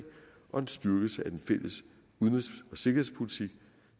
og en styrkelse af den fælles udenrigs og sikkerhedspolitik